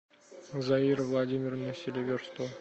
заира владимировна селиверстова